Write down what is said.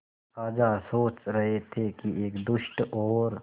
राजा सोच रहे थे कि एक दुष्ट और